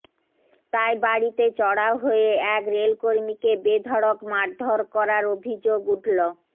তাই বাড়িতে চড়াও হয়ে এক রেলকর্মীকে বেধড়ক মারধর করার অভিযোগ উঠল